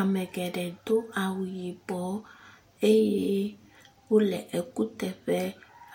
Ame geɖe do awu yibɔ eye wo le ekuteƒe.